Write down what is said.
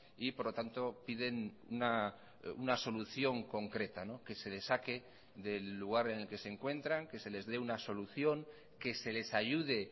y por lo tanto piden una solución concreta que se les saque del lugar en el que se encuentran que se les dé una solución que se les ayude